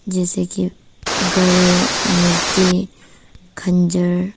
जैसे कि घड़े मूर्ति खंजर।